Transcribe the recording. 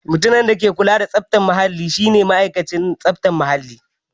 Mutumin da ke kula da tsaftar muhalli shi ne ma'aikacin tsaftar muhalli.